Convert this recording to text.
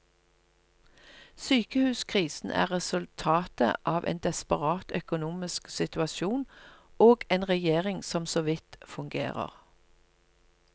Sykehuskrisen er resultatet av en desperat økonomisk situasjon og en regjering som så vidt fungerer.